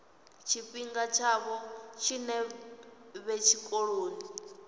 tshifhinga tshavho tshinzhi vhe tshikoloni